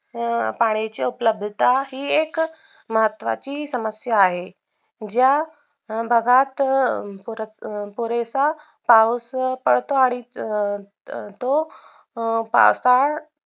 अं पाण्याची उपलब्धता ही एक महत्त्वाचे समस्या आहे. ज्या भागात पुरे पुरेसा पाऊस पडतो अडीच अं तो अं तो पावसाळ